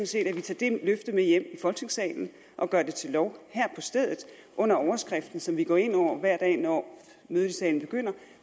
set at vi tager det løfte med hjem i folketingssalen og gør det til lov her på stedet under overskriften som vi går ind under hver dag når mødet i salen begynder